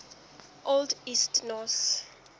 old east norse